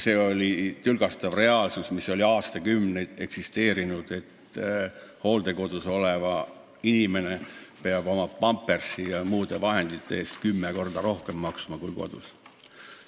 See oli tülgastav reaalsus, mis oli aastakümneid eksisteerinud, et hooldekodus olev inimene peab oma pampersite ja muude vahendite eest maksma kümme korda rohkem, kui makstakse kodus.